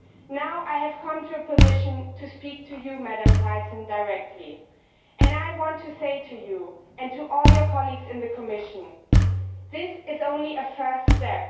Now I am in a position to speak to you, Mrs Thyssen, directly, and I want to say you, and to all your colleagues in the Commission, that this is only a first step.